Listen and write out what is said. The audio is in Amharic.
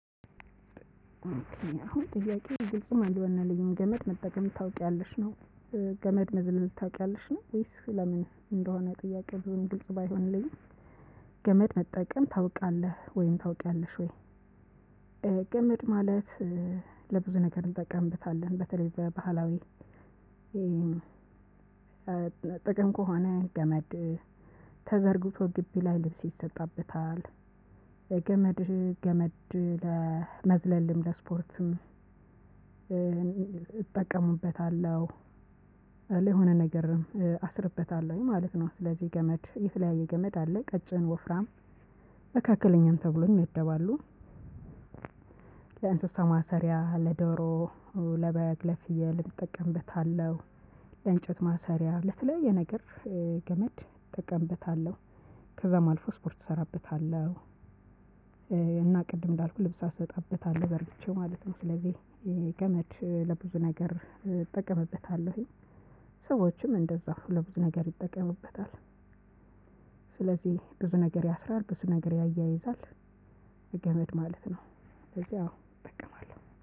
አሁን ጥያቄው ግልጽም አልሆነልኝም ገመድ መጠቀም ታውቅያለሽ ነው? ገመድ መዝለል ታውቅያለሽ ነው ውይስ ሌላ ምን እንደሆነ ጥያቄው ግልጽ ባይሆንልኝም? ገመድ መጠቀም ታውቅያለህ ውይም ታውቅያለሽ ወይ? ገመድ ማለት ለብዙ ነገር እንጠቀምበታለን በተለይ በባህላዊ ጥቅም ከሆነ ገመድ ተዘርግቶ ግቢ ላይ ልብስ ይሰጣበታል። ገመድ ገመድ ለመዝለል ለስፖርትም እጠቀምበታለው ለሆነ ነገርም አስርበታለውኝ ማለት ነው። ስለዝህ ገመድ እለኝ ቀጭን ወፍራም መካከለኛም ተብሎ ይመደባሉ። ለእንስሳ ማሰሪያ ለዶሮ ለበግ ለፍየል እጠቀምበታለሁ። ለእንጨት ማሰሪያ ለተለያየ ነገር ገመድ እጠቀምበታለሁ። ከዛም አልፎ ስፖርት እሰራበታለሁ። እና ቅድም እንዳልኩ ልብስ አሰጣበታለሁ ዘርግቼ ማለት ነው። ስለዚህ የገመድ ለብዙ ነገር እጠቀምበታለሁኝ። ሰዎችም እንደዛው ለብዙ ነገር ይጠቀሙበታል። ስለዚህ ብዙ ነገር ያስራል ብዙ ነገር ያያይዛል። ገመድ ማለት ነው። ከዚህ አዎ እጠቀማለሁ